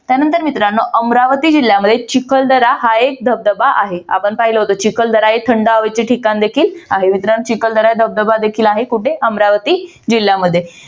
त्यानंतर मित्रांनो अमरावती जिल्ह्यामध्ये चिखलदरा हा एक धबधबा आहे. आपण पाहिलं होत चिखलदरा हे थंड हवेचे ठिकाण देखील आहे. मित्रांनो चिखलदरा धबधबा देखील आहे. कुठे? अमरावती जिल्ह्यामध्ये